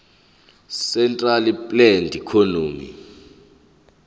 centrally planned economy